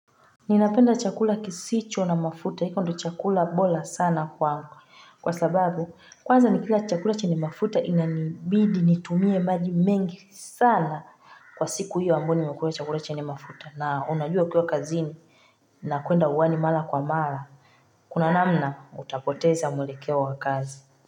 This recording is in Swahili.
Ninapenda chakula kisicho na mafuta, hiko ndio chakula bora sana kwangu. Kwa sababu, kwanza nikila chakula chenye mafuta inanibidi nitumie maji mengi sana kwa siku hiyo ambayo nimekula chakula chenye mafuta. Na unajua kuwa ukiwa kazini, na kuenda uwani mala kwa mala. Kuna namna, utapoteza mwelekeo wa kazi.